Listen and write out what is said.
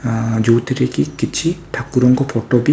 ଆଁ ଯୋଉଥିରେକି କିଛି ଠାକୁରଙ୍କ ଫଟୋ ବି --